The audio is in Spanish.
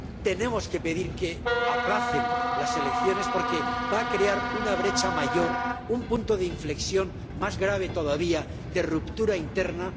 Tenemos que pedir que aplacen las elecciones, porque van a crear una brecha mayor, un punto de inflexión más grave todavía de ruptura interna.